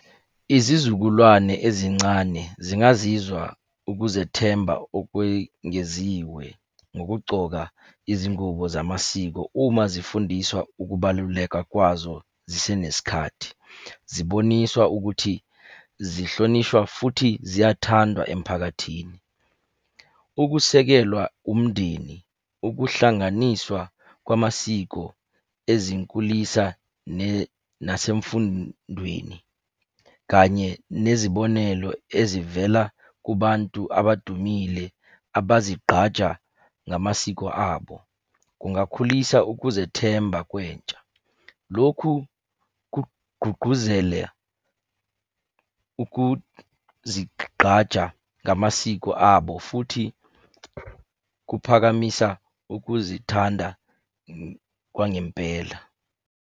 Izizukulwane ezincane zingazizwa ukuzethemba okwengeziwe ngokugcoka izingubo zamasiko uma zifundiswa ukubaluleka kwazo zisenesikhathi. Ziboniswa ukuthi zihlonishwa futhi ziyathandwa emphakathini. Ukusekelwa umndeni, ukuhlanganiswa kwamasiko ezinkulisa nasemfundweni, kanye nezibonelo ezivela kubantu abadumile abazigqaja ngamasiko abo. Kungakhulisa ukuzethemba kwentsha. Lokhu kugqugquzele ukuzigqaja ngamasiko abo, futhi kuphakamisa ukuzithanda kwangempela.